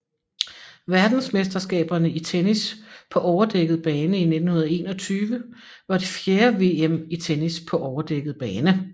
Verdensmesterskaberne i tennis på overdækket bane 1921 var det fjerde VM i tennis på overdækket bane